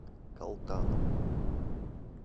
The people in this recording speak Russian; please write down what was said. калтаном